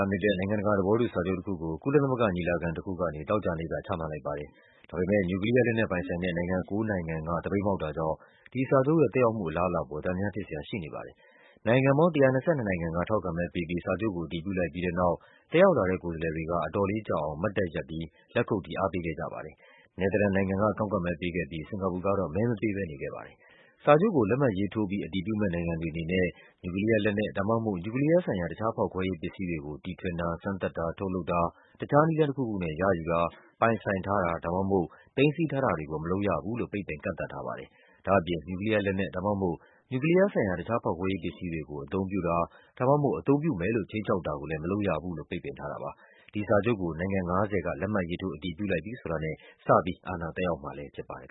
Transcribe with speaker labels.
Speaker 1: ားမြစ်တဲ့ နိုင်ငံတကာသဘောတူစာချုပ်တခုကို ကုလသမဂ္ဂ ညီလာခံတခုကနေ သောကြာ နေ့က ချမှတ်လိုက်ပါတယ်။ ဒါပေမဲ့ နျူကလီးယား လက်နက်ပိုင်ဆိုင်တဲ့ နိုင်ငံ ၉ နိုင်ငံက သပိတ်မှောက်တာကြောင့် ဒီစာချုပ်ရဲ့ သက်ရောက်မှုအလားအလာအပေါ် သံသယဖြစ်စရာရှိနေပါတယ်။ နိုင်ငံပေါင်း ၁၂၂ နိုင်ငံက ထောက်ခံမဲပေးပြီး စာချုပ်ကို အတည်ပြုလိုက်ပြီးတဲ့နောက် တက်ရောက်လာတဲ့ ကိုယ်စားလှယ်တွေက အတော်လေးကြာအောင် မတ်တတ်ရပ်ပြီးတော့ လက်ခုပ်တီး အားပေးခဲ့ကြပါတယ်။ နယ်သာလန်နိုင်ငံက ကန့်ကွက်မဲပေးခဲ့ပြီး စင်္ကာပူကတော့ မဲမပေးဘဲနေခဲ့ပါတယ်။ စာချုပ်ကို လက်မှတ်ရေးထိုးပြီး အတည်ပြုမယ့် နိုင်ငံတွေအနေနဲ့ နျူကလီးယားလက်နက် ဒါမှမဟုတ် နျူကလီးယားဆိုင်ရာ တခြားဖောက်ခွဲရေးပစ္စည်းတွေကို တီထွင်တာ၊ စမ်းသပ်တာ၊ ထုတ်လုပ်တာ၊ တခြားနည်းလမ်းတခုခုနဲ့ ရယူတာ၊ ပိုင်ဆိုင်ထားတာ ဒါမှမဟုတ် သိမ်းဆည်းထားတာတွေကို မလုပ်ရဘူးလို့ ပိတ်ပင် ကန့်သတ်ထားပါတယ်။ ဒါ့အပြင် နျူကလီးယားလက်နက် ဒါမှမဟုတ် နျူကလီးယားဆိုင်ရာ တခြားဖောက်ခွဲရေး ပစ္စည်းတွေကို အသုံးပြုတာ ဒါမှမဟုတ် အသုံးပြုမယ်လို့ ခြိမ်းခြောက်တာကိုလဲ မလုပ်ရဘူးလို့ ပိတ်ပင်ထားတာပါ။ ဒီစာချုပ်ကို နိုင်ငံ ၅၀ က လက်မှတ်ရေးထိုး အတည်ပြုလိုက်ပြီဆိုတာနဲ့ စပြီး
Speaker 2: အာဏာသက်ရောက်မှာလဲဖြစ်ပါတယ်